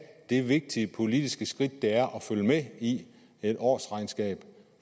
det vigtige politiske skridt det er at følge med i et årsregnskab